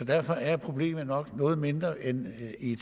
derfor er problemet nok noget mindre end i